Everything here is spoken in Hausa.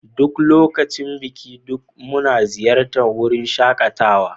Duk lokacin Biki, duk muna ziyartar wurin shakatawa.